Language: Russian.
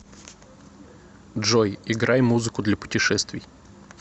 джой играй музыку для путешествий